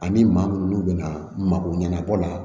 Ani maa mun bɛna mako ɲɛnabɔ la